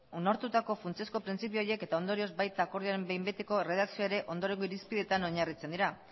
onartutako funtsezko printzipio horiek eta ondorioz baita akordioaren behin betiko erredakzioa ere ondorengo irizpidetan oinarritzen dira